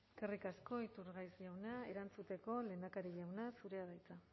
eskerrik asko iturgaiz jauna erantzuteko lehendakari jauna zurea da hitza